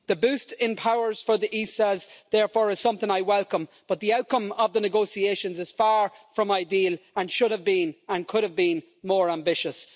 The boost in powers for the ESAs, therefore, is something I welcome, but the outcome of the negotiations is far from ideal and should have been, and could have been, more ambitious.